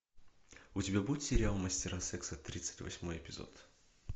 у тебя будет сериал мастера секса тридцать восьмой эпизод